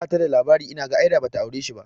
Bata da labari inaga, ai da bata aure shi ba